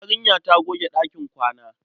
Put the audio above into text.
Yarinya ta goge ɗakin kwana.